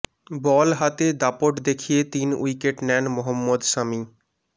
বল হাতে দাপট দেখিয়ে তিন উইকেট নেন মহম্মদ সামি